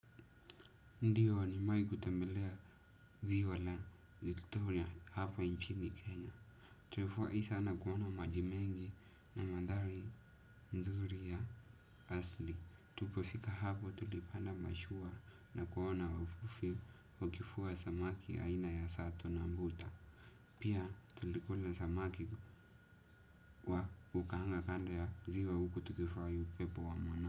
Ndiyo nimewahi kutembelea ziwa la Victoria hapa nchini Kenya. Tulifurahi sana kuona maji mengi na mandhari nzuri ya asili. Tulipofika hapo tulipanda mashua na kuona wavuvi wakivua samaki aina ya sato na mbuta. Pia tulikula samaki wa kukaanga kando ya ziwa huku tukifurahia upepo wa mwana.